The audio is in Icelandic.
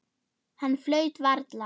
Hann flaut varla.